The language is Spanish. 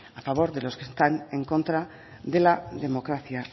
a favor de los que están en contra de la democracia